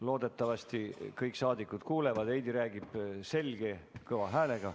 Loodetavasti kõik saadikud kuulevad, Heidy räägib selge kõva häälega.